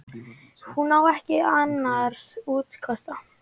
Hún á ekki annars úrkosti.